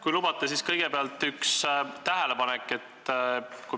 Kui lubate, siis kõigepealt üks tähelepanek.